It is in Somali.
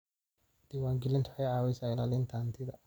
Diiwaangelintu waxay caawisaa ilaalinta hantida.